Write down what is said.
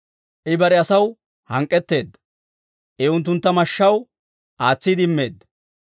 I bare asaw hank'k'etteedda; I unttuntta mashshaw aatsiide immeedda.